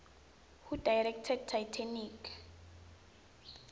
who directed titanic